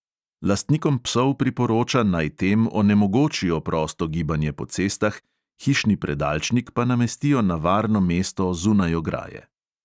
Lastnikom psov priporoča, naj tem onemogočijo prosto gibanje po cestah, hišni predalčnik pa namestijo na varno mesto zunaj ograje.